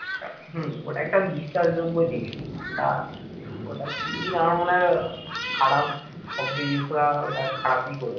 ওটা একটা বিশ্বাসযোগ্য জিনিস ওটা প্রীতির আমার মনে হয় খারাপ শব্দ use করা ওটা খারাপই করেছে।